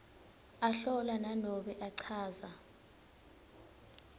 ahlola nanobe achaza